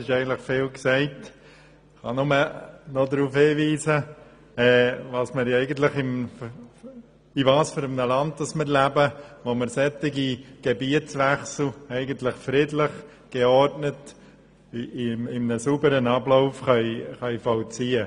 Vieles wurde schon gesagt, und ich kann nur noch darauf hinweisen, in welcher Art Land wir leben, wenn wir solche Gebietswechsel friedlich und geordnet in einem sauberen Ablauf durchführen können.